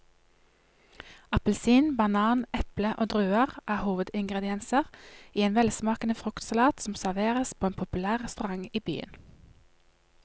Appelsin, banan, eple og druer er hovedingredienser i en velsmakende fruktsalat som serveres på en populær restaurant i byen.